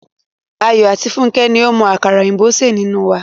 Ayọ̀ àti Fúnkẹ́ ni ó mọ àkàrà òyìnbó ṣe nínú wa.